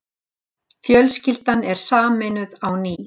Fjölskyldan er sameinuð á ný.